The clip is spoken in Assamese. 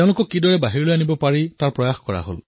তেওঁলোকক কিদৰে বাহিৰলৈ ওলোৱা যায়